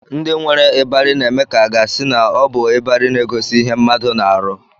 Ndị nwere ịbarị ụlọ na-eme ka a ga-asị na ọ bụ ịbarị na-egosi ihe mmadụ na-arụ